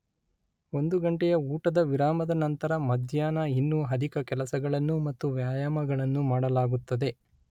ಒಂದು ಗಂಟೆಯ ಊಟದ ವಿರಾಮದ ನಂತರ ಮಧ್ಯಾಹ್ನ ಇನ್ನೂ ಅಧಿಕ ಕೆಲಸಗಳನ್ನು ಮತ್ತು ವ್ಯಾಯಾಮಗಳನ್ನು ಮಾಡಲಾಗುತ್ತದೆ.